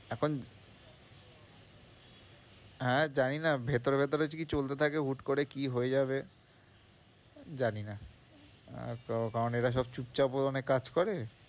এখন হ্যাঁ, জানি না ভেতরে ভেতরে কি চলতে থাকে হুট করে কি হয়ে যাবে, জানি না আর তো কারণ এরা সব চুপচাপ মনে কাজ করে।